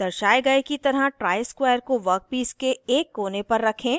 दर्शाये की तरह ट्राइस्क्वायर को वर्कपीस के एक कोने पर रखें